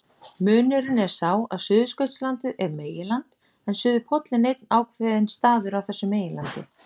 Munurinn er sá að Suðurskautslandið er meginland en suðurpóllinn einn ákveðinn staður á þessu meginlandi.